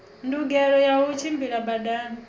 ndungelo ya u tshimbila badani